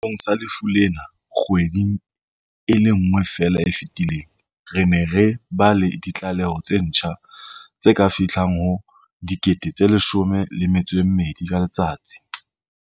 Sehlohlolong sa lefu lena kgweding e le nngwe feela e fetileng, re ne re ba le ditlaleho tse ntjha tse ka fihlang ho 12 000 ka letsatsi.